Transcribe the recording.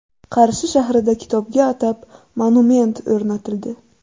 Qarshi shahrida kitobga atab monument o‘rnatildi .